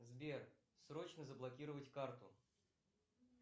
сбер срочно заблокировать карту